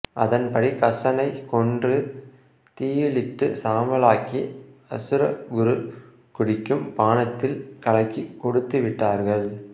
அதன்படி கசனை கொன்று தீயிலிட்டு சாம்பலாக்கி அசுர குரு குடிக்கும் பானத்தில் கலக்கி கொடுத்து விட்டார்கள்